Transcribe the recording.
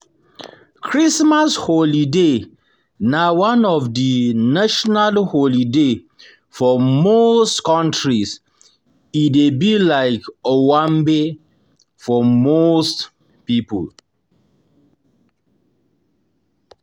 Christmas holiday na one of di national holiday for most countries e dey be like owanbe for most pipo